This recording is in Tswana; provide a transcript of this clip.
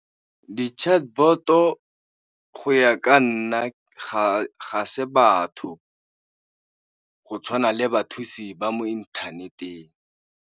Di-chatbot-o go ya ka nna, ga se batho go tshwana le bathusi ba mo inthaneteng.